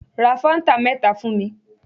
Ra fáńtà mẹ́ta fún mi.